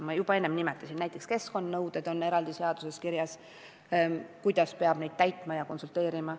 Ma juba enne nimetasin, et eraldi seaduses on kirjas, kuidas keskkonnanõudeid peab täitma ja selles küsimuses konsulteerima.